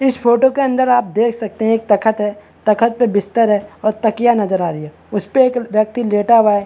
इस फोटो के अंदर आप देख सकते है एक तखत है तखत पे बिस्तर है और तकिया नज़र आ रही हैं उसपे एक व्यक्ति लेटा हुआ है।